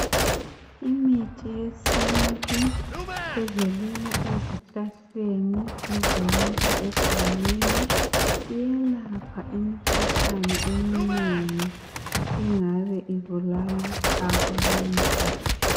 Imithi yesintu evelela ezihlahleni ezimila egangeni iyelapha imikhuhlane eminengi engabe ibulala abantu